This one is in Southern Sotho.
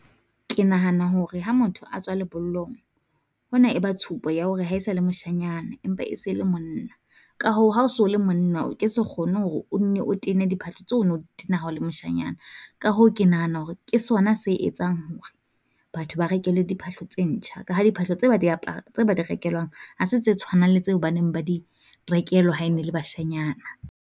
Ke nahana hore ha motho a tswa lebollong, hona e ba tshupo ya hore ha e sa le moshanyana empa e se le monna. Ka hoo ha o so le monna o ke se kgone hore o nne o tene diphahlo tseo no o di tena ha o le moshanyana. Ka hoo ke nahana hore ke sona se etsang hore batho ba rekelwe diphahlo tse ntjha, ka ha diphahlo tse ba di tse ba di rekelwang, ha se tse tshwanang le tseo ba neng ba di rekelwa ha e ne e le bashanyana.